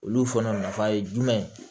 Olu fana nafa ye jumɛn ye